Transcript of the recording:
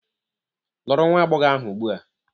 Lụrụ nwa agbọghọ ahụ ugbu a!